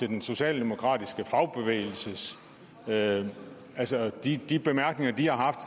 den socialdemokratiske fagbevægelse med altså de de bemærkninger de har haft